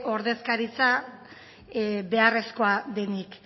ordezkaritza beharrezkoa denik